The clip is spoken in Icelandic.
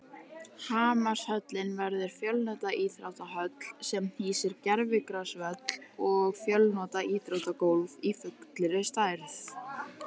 Hamarshöllin verður fjölnota íþróttahöll sem hýsir gervigrasvöll og fjölnota íþróttagólf í fullri stærð.